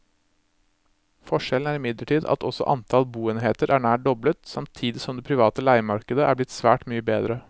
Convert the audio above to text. Forskjellen er imidlertid at også antall boenheter er nær doblet, samtidig som det private leiemarkedet er blitt svært mye bedre.